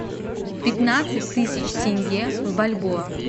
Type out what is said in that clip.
пятнадцать тысяч тенге в бальбоа